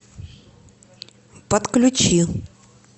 подключи